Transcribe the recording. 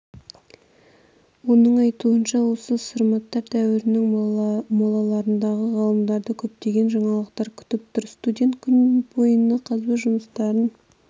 оның айтуынша осы сарматтар дәуірінің молаларында ғалымдарды көптеген жаңалықтар күтіп тұр студент күн бойына қазба жұмыстарын